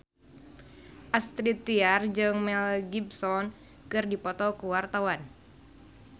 Astrid Tiar jeung Mel Gibson keur dipoto ku wartawan